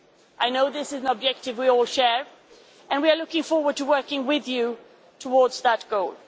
I know this is an objective we all share, and we are looking forward to working with you towards that goal.